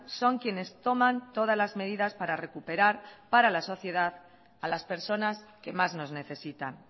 son quienes toman todas las medidas para recuperar para la sociedad a las personas que más nos necesitan